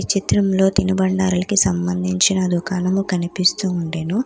ఈ చిత్రంలో తినుబండారాలకి సంబంధించిన దుకాణము కనిపిస్తూ ఉండెను.